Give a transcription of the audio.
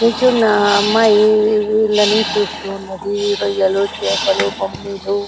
నించున్న అమ్మాయి వీళ్లను చూస్తున్నది రొయ్యలు చేపలు బొమ్మిలు.